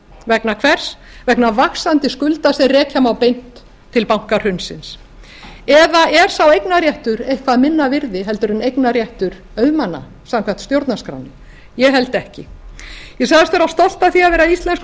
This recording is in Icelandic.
vegna hvers vegna vaxandi skulda sem rekja má beint til bankahrunsins eða er sá eignarréttur eitthvað minna virði heldur en eignarréttur auðmanna samkvæmt stjórnarskrá ég held ekki ég sagðist vera stolt af því að vera íslenskur